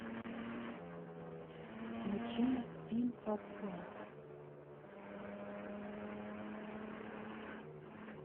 включи пин ап клаб